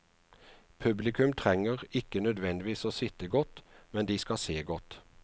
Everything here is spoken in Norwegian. Publikum trenger ikke nødvendigvis å sitte godt, men de skal se godt.